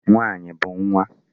Nwaanyị bụ nwa.